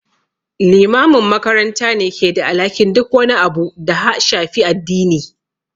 Limamin makaranta ne ke da alhakin duk wani abu da ha shafi addini.